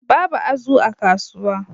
Babu azu a kasuwa